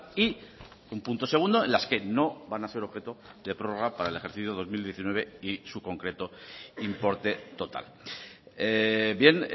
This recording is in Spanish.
y un punto segundo en las que no van a ser objeto de prórroga para el ejercicio dos mil diecinueve y su concreto importe total bien